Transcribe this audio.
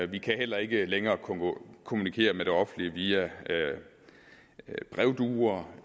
vi kan heller ikke længere kommunikere med det offentlige via brevduer